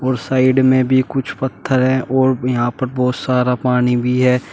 Side में भी कुछ पत्थर हैं और यहां पर बहुत सारा पानी भी है।